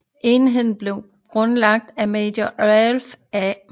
Enheden blev grundlagt af major Ralph A